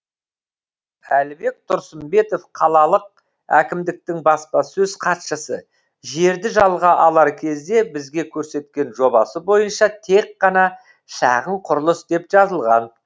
әлібек тұрсынбетов қалалық әкімдіктің баспасөз хатшысы жерді жалға алар кезде бізге көрсеткен жобасы бойынша тек қана шағын құрылыс деп жазылған